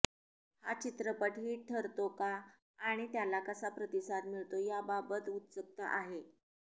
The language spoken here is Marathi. हा चित्रपट हिट ठरतो का आणि त्याला कसा प्रतिसाद मिळतो याबाबत उत्सुकता आहे